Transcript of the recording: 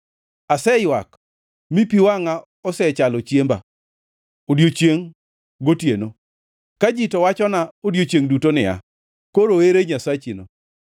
Aseywak mi pi wangʼa osechalo chiemba odiechiengʼ gotieno, ka ji to wachona odiechiengʼ duto niya, “Koro ere Nyasachino?”